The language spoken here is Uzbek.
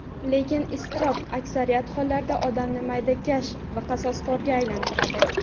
Lekin iztirob aksariyat hollarda odamni maydakash va qasoskorga aylantiradi.